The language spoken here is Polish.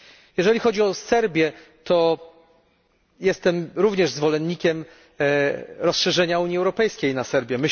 Jeżeli chodzi o Serbię, to jestem również zwolennikiem rozszerzenia Unii Europejskiej na Serbię.